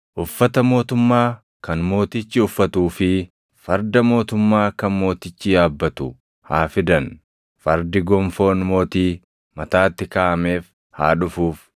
uffata mootummaa kan mootichi uffatuu fi farda mootummaa kan mootichi yaabbatu haa fidan; fardi gonfoon mootii mataatti kaaʼameef haa dhufuuf.